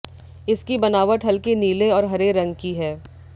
इसकी बनावट हल्के नीले और हरे रंग की है